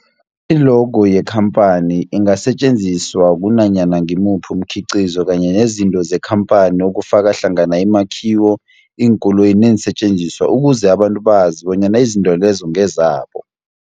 I-logo yekhamphani ingasetjenziswa kunanyana ngimuphi umkhiqizo kanye nezinto zekhamphani okufaka hlangana imakhiwo, iinkoloyi neensentjenziswa ukuze abantu bazi bonyana izinto lezo ngezabo.